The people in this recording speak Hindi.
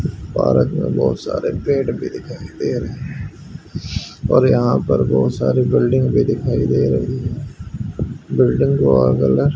पार्क में बहुत सारे पेड़ भी दिखाई दे रहे हैं और यहां पर बहुत सारे बिल्डिंग भी दिखाई दे रही है बिल्डिंग को वहां कलर ।